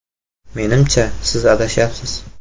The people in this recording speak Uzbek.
“Menimcha, siz adashyapsiz.